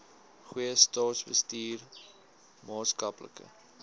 goeie staatsbestuur maatskaplike